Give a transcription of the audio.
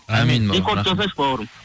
амин рекорд жасашы бауырым